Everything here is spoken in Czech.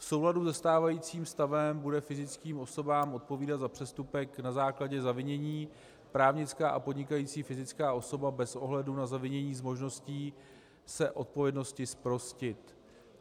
V souladu se stávajícím stavem bude fyzickým osobám odpovídat za přestupek na základě zavinění, právnická a podnikající fyzická osoba bez ohledu na zavinění s možností se odpovědnosti zprostit.